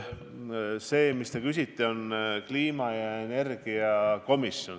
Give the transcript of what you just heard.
Nüüd, te küsisite kliima- ja energiakomisjoni kohta.